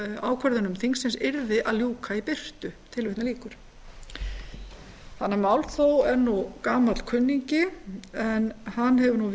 ákvörðunum þingsins yrði að ljúka í birtu málþóf er gamall kunningi en hann hefur